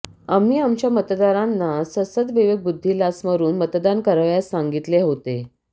आम्ही आमच्या मतदारांना सद्सद्विवेकबुद्धीला स्मरून मतदान करावयास सांगितले होते